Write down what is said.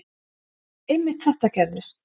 Einmitt þetta gerðist.